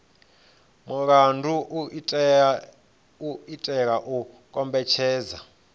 mulandu u itela u kombetshedza